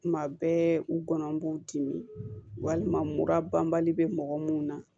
Kuma bɛɛ u gɔnɔ b'u dimi walima mura banbali bɛ mɔgɔ minnu na